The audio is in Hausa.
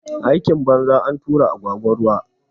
Aikin banza, antura agwagwa ruwa